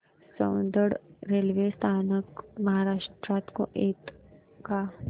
Soundad railway स्थानक महाराष्ट्रात येतं का